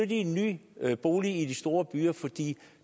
i en ny bolig i de store byer for de